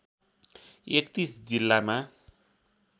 ३१ जिल्लामा